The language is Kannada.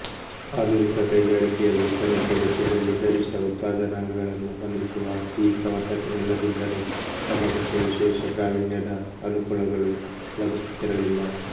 ಆಧುನಿಕ ಕೈಗಾರಿಕೆಯಲ್ಲಿ ಕನಿಷ್ಠ ವೆಚ್ಚದಲ್ಲಿ ಗರಿಷ್ಠ ಉತ್ಪಾದನಾಂಗಗಳನ್ನು ಹೊಂದಿಸುವ ಈ ಪ್ರವರ್ತಕನಿಲ್ಲದಿದ್ದರೆ ಸಮಾಜಕ್ಕೆ ವಿಶೇಷ ಪ್ರಾವೀಣ್ಯದ ಅನುಕೂಲಗಳು ಲಭಿಸುತ್ತಿರಲಿಲ್ಲ